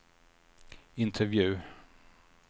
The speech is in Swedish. intervju